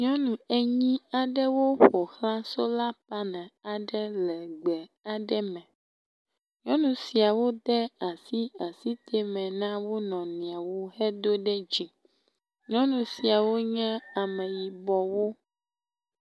Nyɔnu enyi aɖewo ƒo xlã sola paneli aɖe le gbe aɖe me. Nyɔnu siawo de asi asitɛme na wo nɔnɔewo hedo ɖe dzi. Nyɔnu siawo nye ameyibɔwo.